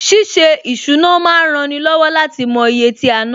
Ṣíṣe ìsúná ma ń rani lọ́wọ́ láti mo iye tí a ná